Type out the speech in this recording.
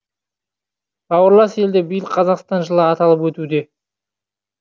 бауырлас елде биыл қазақстан жылы аталып өтуде